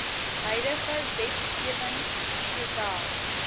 huidige wetgewing sowel